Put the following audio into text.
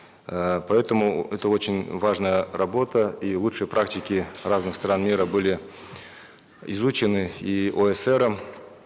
э поэтому это очень важная работа и лучшие практики разных стран мира были изучены и оср ом